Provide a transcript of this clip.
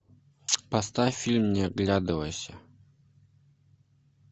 поставь фильм не оглядывайся